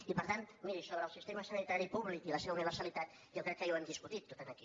i per tant miri sobre el sistema sanitari públic i la seva universalitat jo crec que ja ho hem discutit tot aquí